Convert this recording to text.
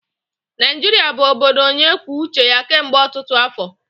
Naijiria bụ obodo onye kwuo uche ya kemgbe ọtụtụ afọ.